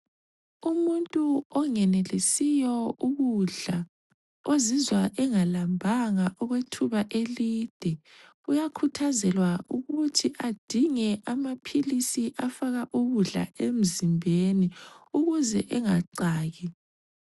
Umuntu ongenelisiyo ukudla ozizwa engalambanga okwethuba elide uyakhuthazelwa ukuthi adinge amaphilisi afaka ukudla emzimbeni ukuze engacaki.